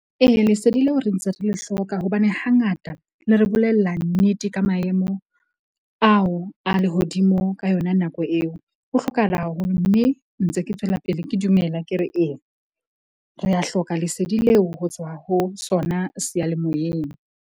Ee, lesedi leo re ntse re le hloka hobane hangata le re bolella nnete ka maemo ao a lehodimo ka yona nako eo. Ho hlokahala haholo mme ntse ke tswela pele ke dumela ke re eya. Re ya hloka lesedi leo ho tswa ho sona seyalemoyeng.